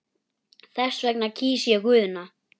Þess vegna kýs ég Guðna.